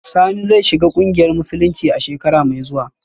Sani zai shiga kungiyar musulunci a shekara mai zuwa